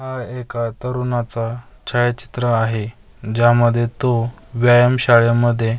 एका तरुणाचा छायाचित्र आहे ज्यामध्ये तो व्यायाम शाळेमध्ये --